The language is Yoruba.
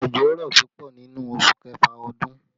Òjò rọ̀ púpọ̀ nínú oṣù kẹfà ọdún